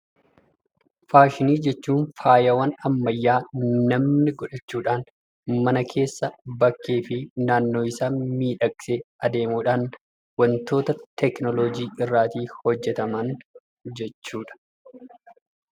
Faashinii jechuun faayawwan ammayyaa namni godhachuudhaan mana keessa, bakkee fi naannoo isaa miidhagsee adeemuudhaan wantoota teknoolojii irraatii hojjetaman jechuu dha.